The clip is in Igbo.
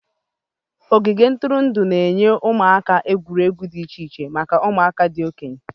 Ogige ntụrụndụ na-enye ụdị egwuregwu ụmụaka dị iche iche maka ụmụaka na ndị okenye.